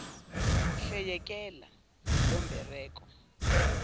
hle yekela lombereko